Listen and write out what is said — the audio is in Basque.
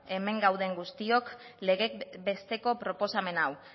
hemen gauden guztiok legez besteko proposamen hau